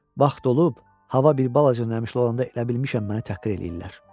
Vaxt olub, hava bir balaca nəmişli olanda elə bilmişəm məni təhqir eləyirlər.